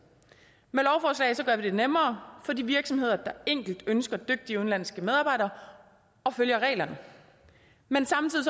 med det nemmere for de virksomheder der enkelt ønsker dygtige udenlandske medarbejdere og følger reglerne men samtidig